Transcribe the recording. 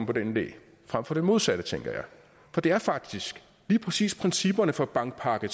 på den idé frem for det modsatte tænker jeg for det er faktisk lige præcis principperne for bankpakke